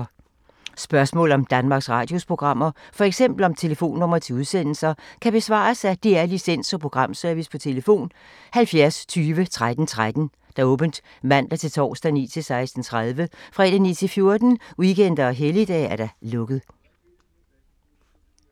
Spørgsmål om Danmarks Radios programmer, f.eks. om telefonnumre til udsendelser, kan besvares af DR Licens- og Programservice: tlf. 70 20 13 13, åbent mandag-torsdag 9.00-16.30, fredag 9.00-14.00, weekender og helligdage: lukket.